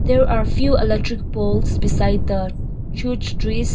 there are few electric post beside the huge trees.